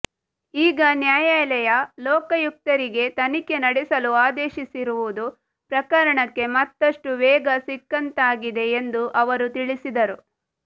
ಈಗ ನ್ಯಾಯಾಲಯ ಲೋಕಾಯುಕ್ತರಿಗೆ ತನಿಖೆ ನಡೆಸಲು ಆದೇಶಿಸಿರುವುದು ಪ್ರಕರಣಕ್ಕೆ ಮತ್ತಷ್ಟು ವೇಗ ಸಿಕ್ಕಂತಾಗಿದೆ ಎಂದು ಅವರು ತಿಳಿಸಿದರು